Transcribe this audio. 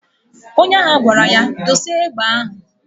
Onye agha gwara ya,"Dosa egbe ahụ!"